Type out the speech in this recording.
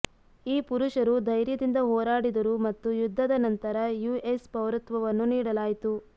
ಈ ಪುರುಷರು ಧೈರ್ಯದಿಂದ ಹೋರಾಡಿದರು ಮತ್ತು ಯುದ್ಧದ ನಂತರ ಯುಎಸ್ ಪೌರತ್ವವನ್ನು ನೀಡಲಾಯಿತು